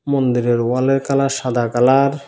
মন্দিরের ওয়ালের কালার সাদা কালার ।